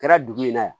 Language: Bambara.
Kɛra dugu in na yan